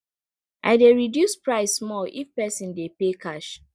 i dey reduce price small if person dey pay cash